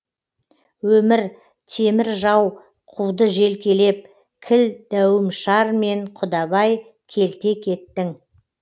өмір темір жау қуды желкелеп кіл дәуімшар мен құдабай келте кеттің